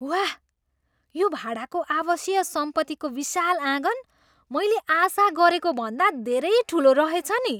वाह, यो भाडाको आवासीय सम्पत्तीको विशाल आँगन मैले आशा गरेको भन्दा धेरै ठुलो रहेछ नि!